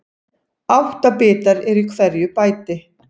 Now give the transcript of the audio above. Átta bitar eru í hverju bæti.